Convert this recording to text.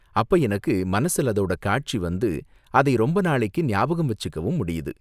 அப்ப எனக்கு மனசுல அதோட காட்சி வந்து, அதை ரொம்ப நாளைக்கு ஞாபகம் வச்சுக்கவும் முடியுது.